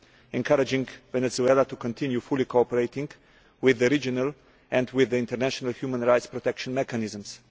encouraging Venezuela to continue fully cooperating with the regional and with the international human rights protection mechanisms.